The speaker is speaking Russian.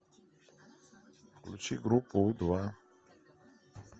включи группу у два